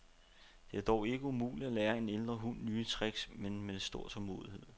Det er dog ikke umuligt at lære en ældre hund nye tricks, med stor tålmodighed.